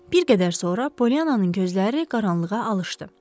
Bir qədər sonra Poliannanın gözləri qaranlığa alışdı.